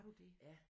Ja